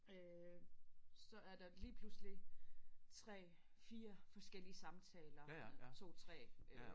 Øh så er der lige pludselig 3 4 forskellige samtaler med 2 3 øh